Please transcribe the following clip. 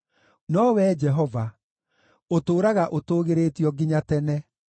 No Wee Jehova, ũtũũraga ũtũũgĩrĩtio nginya tene.